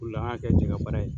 O de la, an ya kɛ jɛkabaara ye.